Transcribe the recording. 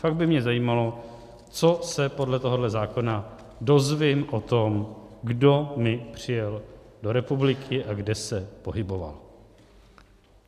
Fakt by mě zajímalo, co se podle tohoto zákona dozvím o tom, kdo mi přijel do republiky a kde se pohyboval.